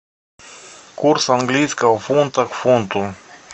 курс английского фунта к фунту